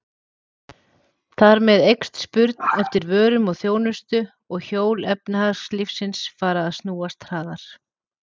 Þar með eykst spurn eftir vörum og þjónustu og hjól efnahagslífsins fara að snúast hraðar.